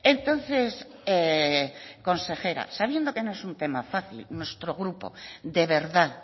entonces consejera sabiendo que no es un tema fácil nuestro grupo de verdad